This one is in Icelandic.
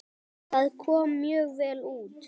Það kom mjög vel út.